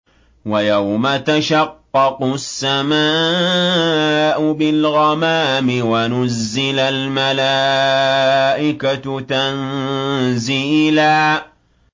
وَيَوْمَ تَشَقَّقُ السَّمَاءُ بِالْغَمَامِ وَنُزِّلَ الْمَلَائِكَةُ تَنزِيلًا